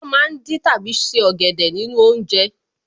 Wọ́n ma ń dín tàbí se ọ̀gẹ̀dẹ̀ nínú oúnjẹ